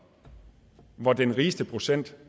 hvor den rigeste procent